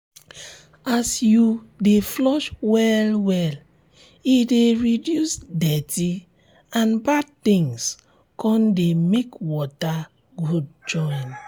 as you de flush well well e de reduce dirty and bad things con de make water um good join